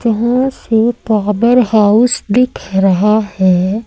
जहां से power house दिख रहा है।